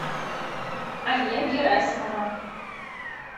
алия герасимова